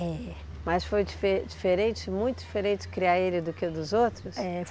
É. Mas foi dife diferente, muito diferente, criar ele do que os outros? É